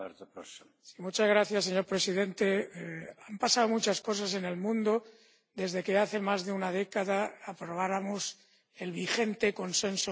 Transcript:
Señor presidente, han pasado muchas cosas en el mundo desde que hace más de una década aprobáramos el vigente Consenso Europeo sobre Desarrollo.